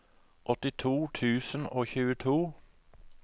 åttito tusen og tjueto